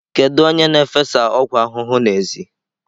Kedu onye na-efesa ọgwụ ahụhụ n'èzí?